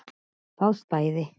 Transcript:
Það stæði.